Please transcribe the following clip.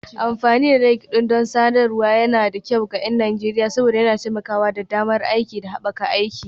Amfani da LinkedIn don sadarwar yana da kyau ga 'yan Najeriya saboda yana taimakawa da damar aiki da haɓaka aiki.